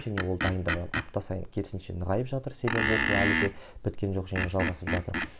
және ол дайындығы апта сайын керісінше нығайып жатыр себебі оқу әлі де біткен жоқ және жалғасып жатыр